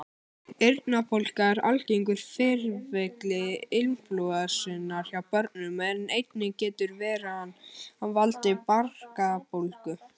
Eyrnabólga er algengur fylgikvilli inflúensunnar hjá börnum en einnig getur veiran valdið barkabólgu.